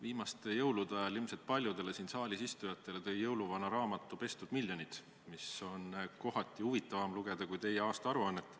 Viimaste jõulude ajal ilmselt paljudele siin saalis istujatele tõi jõuluvana raamatu "Pestud miljonid", mida on kohati huvitavam lugeda kui teie aastaaruannet.